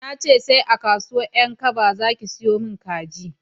Na ce sai a kasuwan 'yan kaba za ki siyomin kabeji